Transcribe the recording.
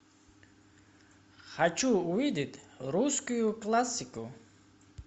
хочу увидеть русскую классику